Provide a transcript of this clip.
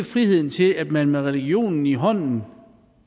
frihed til at man med religionen i hånden